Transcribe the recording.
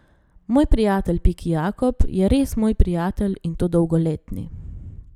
Moj prijatelj Piki Jakob je res moj prijatelj, in to dolgoletni.